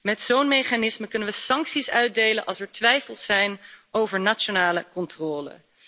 Met zo'n mechanisme kunnen we sancties uitdelen als er twijfels zijn over nationale controle.